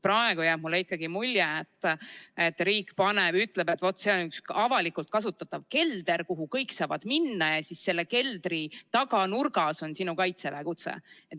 Praegu jääb mulle ikkagi mulje, et riik ütleb, et see on üks avalikult kasutatav kelder, kuhu kõik saavad minna, ja selle keldri taganurgas on sinu Kaitseväe kutse.